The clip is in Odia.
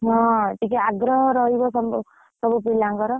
ହଁ, ଟିକେ ଆଗ୍ରହ ରହିବ ସମ, ସବୁପିଲାଙ୍କର।